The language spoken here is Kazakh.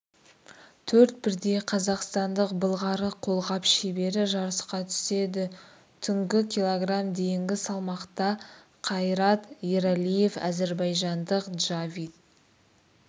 төрт бірдей қазақстандық былғары қолғап шебері жарысқа түседі түнгі кг дейінгі салмақта қайрат ералиев әзірбайжандық джавид